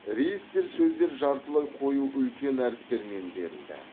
реестр сөздер жартылай қою үлкен әріптермен берілді